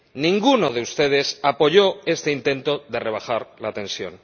Ninguno de ustedes apoyó este intento de rebajar la tensión.